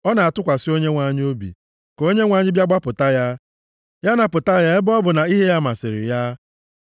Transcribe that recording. “O na-atụkwasị Onyenwe anyị obi; ka Onyenwe anyị bịa gbapụta ya. Ya napụta ya ebe ọ bụ na ihe ya masịrị ya.”